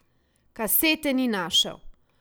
Kasete ni našel.